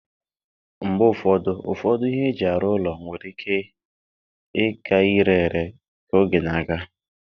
Mgbe ụfọdụ, ụfọdụ ihe eji arụ ụlọ nwere ike ịka ire ere ka oge na-aga.